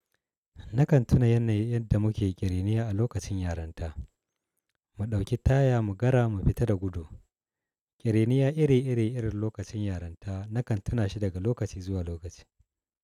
Nakan tuna yanayin yadda muke ƙiriniya a lokacin yaranta. Mu ɗauki taya mu gara mu fita da gudu. Ƙiriniya ire-ire irin lokacin yaranta nakan tuna shi daga lokaci zuwa lokaci.